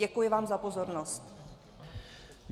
Děkuji vám za pozornost.